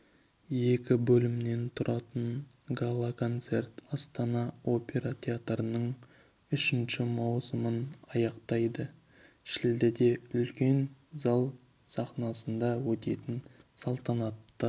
екі бөлімнен тұратын гала-концерт астана опера театрының үшінші маусымын аяқтайды шілдеде үлкен зал сахнасында өтетін салтанатты